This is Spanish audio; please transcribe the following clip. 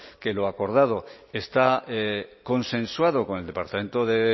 que lo acordado está consensuado con el departamento de